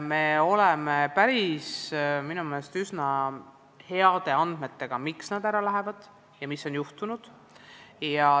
Meil on minu meelest üsna head andmed selle kohta, miks nad ära lähevad ja mis on juhtunud.